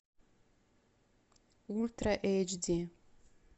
ультра эйч ди